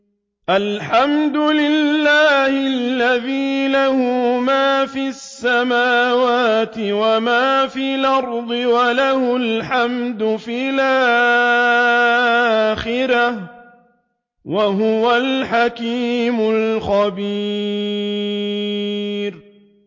الْحَمْدُ لِلَّهِ الَّذِي لَهُ مَا فِي السَّمَاوَاتِ وَمَا فِي الْأَرْضِ وَلَهُ الْحَمْدُ فِي الْآخِرَةِ ۚ وَهُوَ الْحَكِيمُ الْخَبِيرُ